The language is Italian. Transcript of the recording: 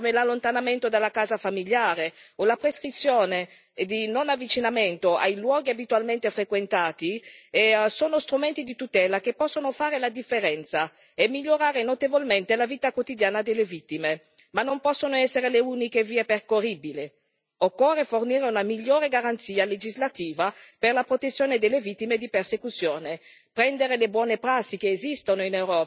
Misure quali gli ordini di protezione, l'allontanamento dalla casa familiare o la prescrizione di non avvicinamento ai luoghi abitualmente frequentati sono strumenti di tutela che possono fare la differenza e migliorare notevolmente la vita quotidiana delle vittime, ma non possono essere le uniche vie percorribili. Occorre fornire una migliore garanzia legislativa per la protezione delle vittime di persecuzione,